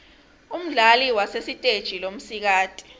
umdlali wasesiteje lomsikati